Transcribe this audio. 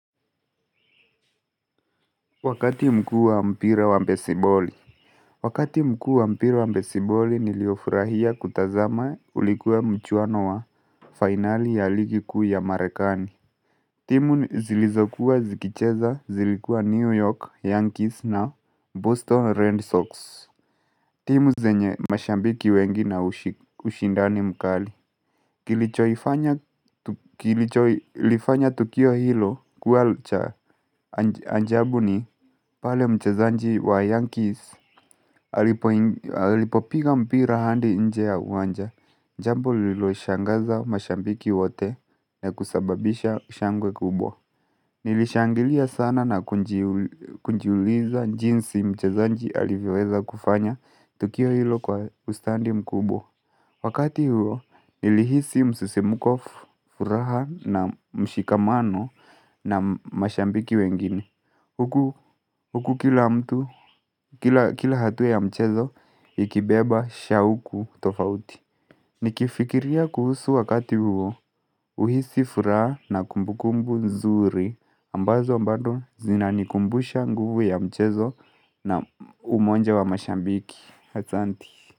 Wakati mkuu mpra wa besiboli. Wakati mkuu wa mpira wa besiboli niliofurahia kutazama ulikuwa mchuano wa fainali ya ligi kuu ya marekani timu zilizokuwa zikicheza zilikua New York Yankees na Boston Red Sox timu zenye mashabiki wengi na ushi ushindani mkali Kilichoifanya kilicholifanya tukio hilo kuwa cha ajabu ni pale mchezaji wa Yankees alipoi alipopiga mpira hadi nje ya uwanja jambo lililo shangaza mashabiki wote ya kusababisha shangwe kubwa Nilishangilia sana na kujiu kujiuliza jinsi mchezaji aliweza kufanya tukio hilo kwa ustadi mkubwa Wakati huo nilihisi msisimko, furaha na mshikamano na mashabiki wengine Huku kila mtu, kila kila hatua ya mchezo ikibeba shauku tofauti Nikifikiria kuhusu wakati huo huhisi furaha na kumbukumbu nzuri ambazo bado zinanikumbusha nguvu ya mchezo na umoja wa mashabiki. Asanti.